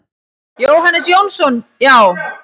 Jóhannes Jónsson: Já.